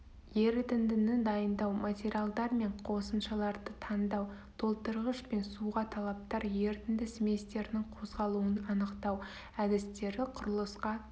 ерітіндіні дайындау материалдар мен қосымшаларды таңдау толтырғыш пен суға талаптар ерітінді сместерінің қозғалуын анықтау әдістері құрылысқа